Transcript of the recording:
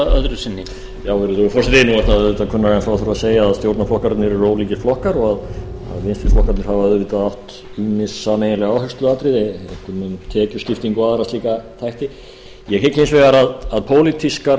að segja að stjórnarflokkarnir eru ólíkir flokkar og að vinstri flokkarnir hafa auðvitað átt ýmis sameiginleg áhersluatriði einkum um tekjuskiptingu og aðra slíka þætti ég hygg hins vegar að pólitískar